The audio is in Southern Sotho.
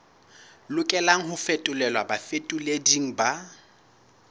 lokelang ho fetolelwa bafetoleding ba